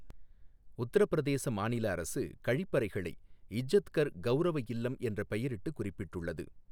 உத்தரப்பிரதேச மாநிலஅரசு, கழிப்பறைகளை இஜ்ஜத்கர் கௌரவ இல்லம் என்ற பெயரிட்டு குறிப்பிட்டுள்ளது.